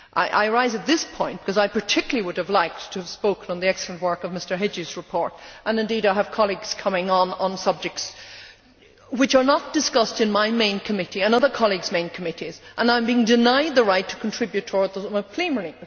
I rise at this point because I particularly would have liked to have spoken on the excellent work of Mr Hegyi's report and indeed I have colleagues coming on on subjects which are not discussed in my main committee and other colleagues' main committees, and I am being denied the right to contribute toward them in plenary.